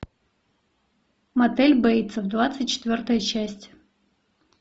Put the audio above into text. мотель бейтсов двадцать четвертая часть